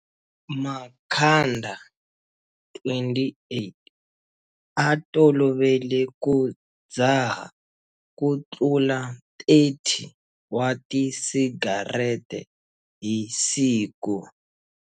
Makhanda, 28, a tolovele ku dzaha kutlula 30 wa tisigarete hi siku.